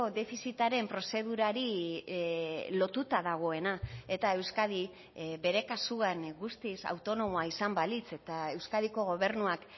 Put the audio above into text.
defizitaren prozedurari lotuta dagoena eta euskadi bere kasuan guztiz autonomoa izan balitz eta euskadiko gobernuak